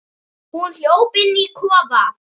Hún hljóp inn í kofann.